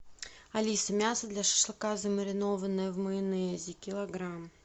алиса мясо для шашлыка замаринованное в майонезе килограмм